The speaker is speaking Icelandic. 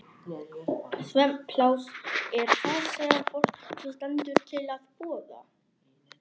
Svefnpláss er það sem fólki stendur til boða.